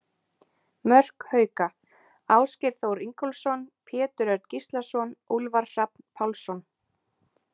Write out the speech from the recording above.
Mörk Hauka: Ásgeir Þór Ingólfsson, Pétur Örn Gíslason, Úlfar Hrafn Pálsson.